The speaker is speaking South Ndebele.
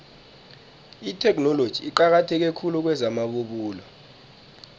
itheknoloji iqakatheke khulu kwezamabubulo